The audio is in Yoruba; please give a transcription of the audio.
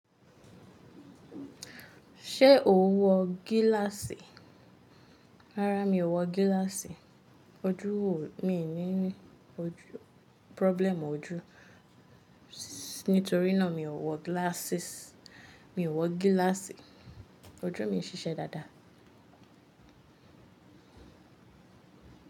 Ṣé o n wọ gíláàsì? Rárá, mi ò wọ gíláàsì. Ojú mi ò ní, mi ò ní problem ọjú. Nítorínà mi ò wọ glasses, mi ò wọ gíláàsì. Ojú mi ń ṣiṣẹ́ dáadáa.